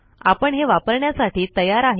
आपण हे वापरण्यासाठी तयार आहे